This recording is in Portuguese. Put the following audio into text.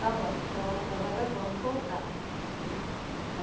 Tá bom, então agora vamos voltar.